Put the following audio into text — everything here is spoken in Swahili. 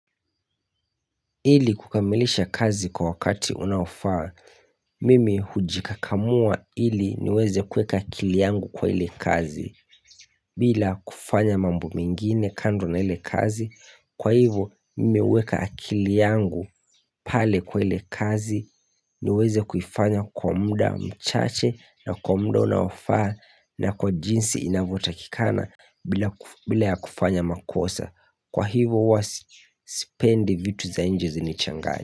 Ili kukamilisha kazi kwa wakati unaofaa, mimi hujikakamua ili niweze kuweka akili yangu kwa ile kazi. Bila kufanya mambo mengine kando na ile kazi, kwa hivo mimi huweka akili yangu pale kwa ile kazi niweze kuufanya kwa muda mchache na kwa muda unaofaa na kwa jinsi inavyotakikana bila ya kufanya makosa. Kwa hivo huwa sipendi vitu za nje zinichanganye.